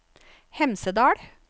Hemsedal